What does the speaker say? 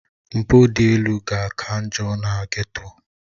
Mpụ dị elu ga-aka njọ na Geto